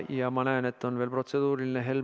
Ja ma näen, et on veel üks protseduuriline küsimus.